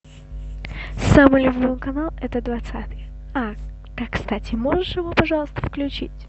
самый любимый канал это двадцатый а да кстати можешь его пожалуйста включить